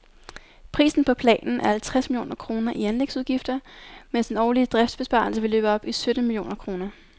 Prisen på planen er halvtreds millioner kroner i anlægsudgifter, mens den årlige driftsbesparelse vil løbe op i sytten millioner kroner.